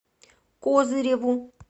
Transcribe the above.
козыреву